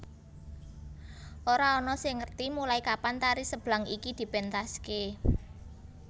Ora ana sing ngerti mulai kapan tari Seblang iki dipentaske